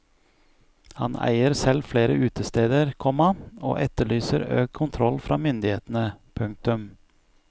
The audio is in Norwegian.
Han eier selv flere utesteder, komma og etterlyser økt kontroll fra myndighetene. punktum